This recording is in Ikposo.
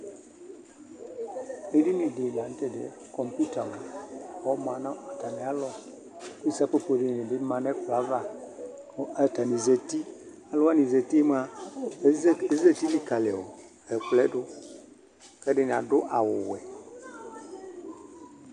Edini dɩ la nʋ tʋ ɛdɩ yɛ Kɔmpuita mʋa, ɔma nʋ atamɩalɔ kʋ isopopo dɩnɩ bɩ ma nʋ ɛkplɔ yɛ ava kʋ atanɩ zati Alʋ wanɩ zati yɛ mʋa, eze ezati lɩkalɩ ɔ ɛkplɔ yɛ dʋ kʋ ɛdɩnɩ adʋ awʋvɛ